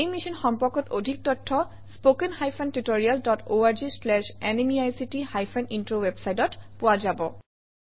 এই মিশ্যন সম্পৰ্কত অধিক তথ্য spoken hyphen tutorial dot org slash এনএমইআইচিত হাইফেন ইন্ট্ৰ ৱেবচাইটত পোৱা যাব